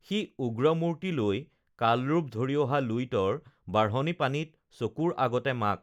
সি উগ্ৰমূৰ্ত্তি লৈ কালৰূপ ধৰি অহা লুইতৰ বাঢ়নী পানীত চকুৰ আগতে মাক